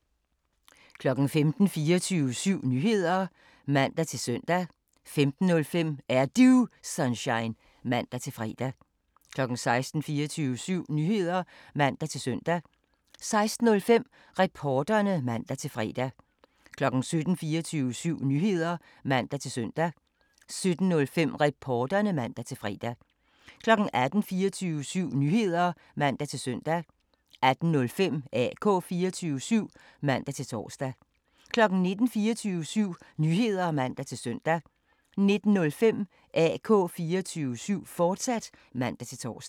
15:00: 24syv Nyheder (man-søn) 15:05: Er Du Sunshine? (man-fre) 16:00: 24syv Nyheder (man-søn) 16:05: Reporterne (man-fre) 17:00: 24syv Nyheder (man-søn) 17:05: Reporterne (man-fre) 18:00: 24syv Nyheder (man-søn) 18:05: AK 24syv (man-tor) 19:00: 24syv Nyheder (man-søn) 19:05: AK 24syv, fortsat (man-tor)